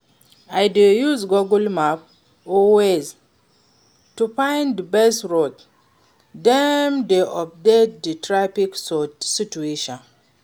I dey use Google Map or Waze to find di best route, dem dey update di traffic situation.